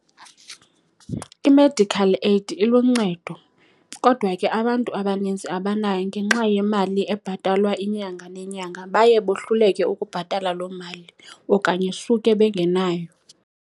I-medical aid iluncedo, kodwa ke abantu abaninzi abanayo ngenxa yemali ebhatalwa inyanga nenyanga. Baye bohluleke ukubhatala loo mali okanye suke bengenayo.